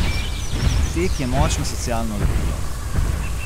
Tek je močno socialno lepilo.